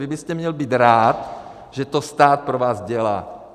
Vy byste měl být rád, že to stát pro vás dělá.